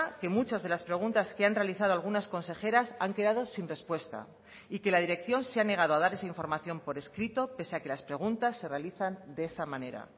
que muchas de las preguntas que han realizado algunas consejeras han quedado sin respuesta y que la dirección se ha negado a dar esa información por escrito pese a que las preguntas se realizan de esa manera